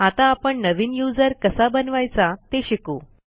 आता आपण नवीन यूझर कसा बनवायचा ते शिकू